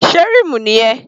Sé rímù nìyẹn?